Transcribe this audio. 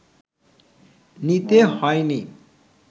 নিতে হয়নি